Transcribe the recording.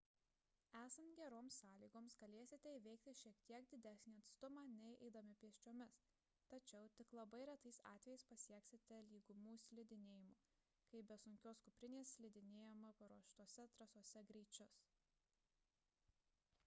esant geroms sąlygoms galėsite įveikti šiek tiek didesnį atstumą nei eidami pėsčiomis tačiau tik labai retais atvejais pasieksite lygumų slidinėjimo kai be sunkios kuprinės slidinėjama paruoštose trasose greičius